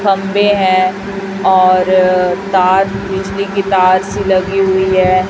खंभे है और तार बिजली की तार सी लगी हुई है।